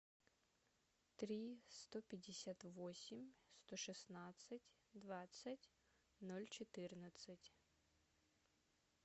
три сто пятьдесят восемь сто шестнадцать двадцать ноль четырнадцать